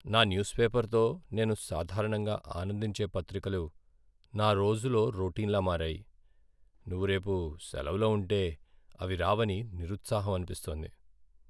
నా న్యూస్ పేపర్తో నేను సాధారణంగా ఆనందించే పత్రికలు నా రోజులో రొటీన్లా మారాయి. నువ్వు రేపు సెలవులో ఉంటే అవి రావని నిరుత్సాహం అనిపిస్తోంది.